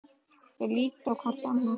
Þau líta hvort á annað.